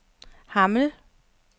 Hammel